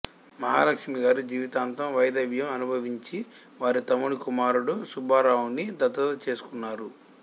మహాలక్ష్మిగారు జీవితాంతం వైదవ్యం అనుభవించి వారి తమ్ముని కుమారుడు సుబ్బారావుని దత్తత చేసుకున్నారు